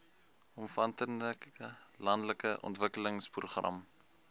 omvattende landelike ontwikkelingsprogram